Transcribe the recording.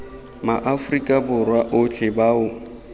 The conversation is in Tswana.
ma afrika borwa otlhe bao